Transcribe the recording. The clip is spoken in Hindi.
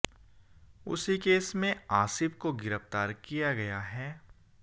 उसी केस में आसिफ को गिरफ्तार किया गया है